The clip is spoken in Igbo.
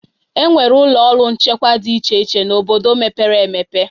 Enwere ụlọ ọrụ nchekwa dị iche iche n'obodo mepere emepe